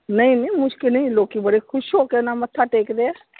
ਨਹੀਂ ਨਹੀਂ ਮੁਸ਼ਕਿਲ ਨਹੀਂ ਲੋਕੀ ਬੜੇ ਖੁਸ਼ ਹੋ ਕੇ ਮੱਥਾ ਟੇਕਦੇ ਆ।